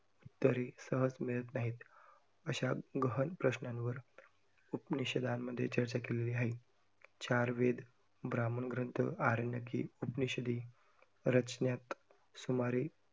तरी सहज मिळत नाहीत. अश्या गहन प्रश्नांवर उपनिषदांमध्ये चर्चा केलेली आहे. चार वेद, ब्राह्मण ग्रंथ, आरण्यके, उपनिषदे रचण्यात सूमारे